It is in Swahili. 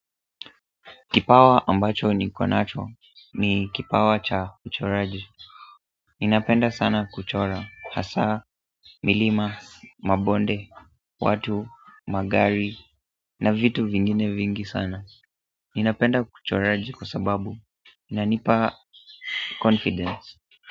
Kipawa ambacho nikonacho ni kipawa cha uchoraji Ninapenda sana kuchora, hasa, milima, mabonde, watu, magari, na vitu vingine vingi sana Ninapenda kuchoraji kwa sababu, inanipa confidence.